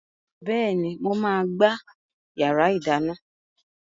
Bẹ́ẹ̀ni, mo máa gbá yàrá ìdáná.